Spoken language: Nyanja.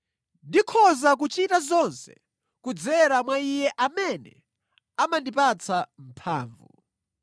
Ndikhoza kuchita zonse kudzera mwa Iye amene amandipatsa mphamvu.